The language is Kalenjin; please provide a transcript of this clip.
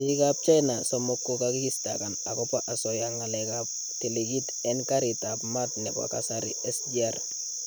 Biikab China somook kokakistaakan akobo asooya ng'aleekab tikitiit en kariitab maat nebo kasari SGR